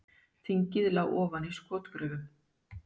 Þingið lá ofan í skotgröfum